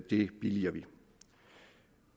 det billiger vi